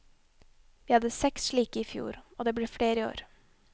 Vi hadde seks slike i fjor, og det blir flere i år.